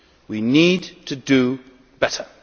We need to do better.